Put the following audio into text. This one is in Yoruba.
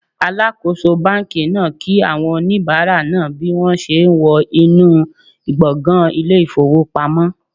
Alakoso banki naa ki awon onibara naa bi won se wo inu gbongan ile ifowopamo